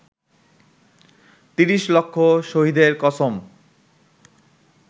৩০ লক্ষ শহীদের কসম